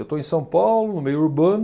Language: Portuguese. Eu estou em São Paulo, no meio urbano,